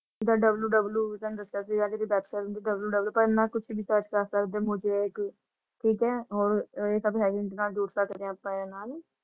ਜਿੰਦਾ ਤੁਹਨੋ ਦੱਸਿਆ ਸੀ ਕਰਨਾ ਕੁਛ ਵੀ ਕਰ ਸਕਦੇ ਮੁਸਿਕ ਠੀਕ ਹੈ ਹੋਰ ਇਹ ਜੁੜ ਸਕਦੇ ਆ ਅੱਪਾ ਏ ਨਾਲ ।